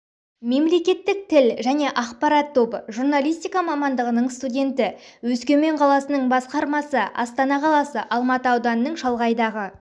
мемлекеттік тіл және ақпарат тобы журналистика мамандығының студенті өскемен қаласының басқармасы астана қаласы алматы ауданының шалғайдағы